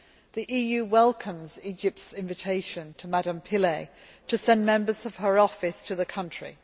The EU welcomes Egypt's invitation to Ms Pillay to send members of her Office to the country.